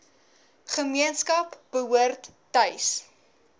gemeenskap behoort tuis